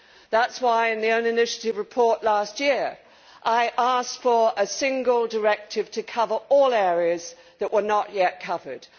That is why, in the own initiative report last year, I asked for a single directive to cover all areas that were not yet covered.